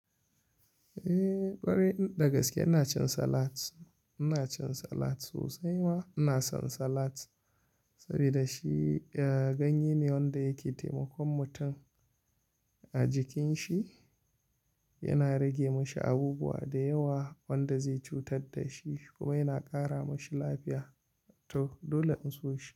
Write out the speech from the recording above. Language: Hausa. Eh, ƙwarai dagaske ina cin salat. Ina cin salat sosai ma ina son salat sabida shi, eh, ganye ne wanda yake taimakon mutum a jikin shi. Yana rage mashi abubuwa da yawa wanda zai cutar da shi kuma yana ƙara mashi lafiya. To dole in so shi.